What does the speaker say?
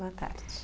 Boa tarde.